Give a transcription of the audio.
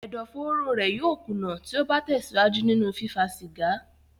Ẹ̀dó-fóóró rẹ̀ yóò kùnà tí ó bá tẹ̀síwájú nínú fífá cìgá.